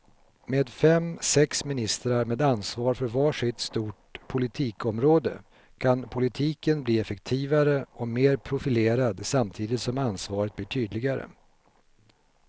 Med fem, sex ministrar med ansvar för var sitt stort politikområde kan politiken bli effektivare och mer profilerad samtidigt som ansvaret blir tydligare.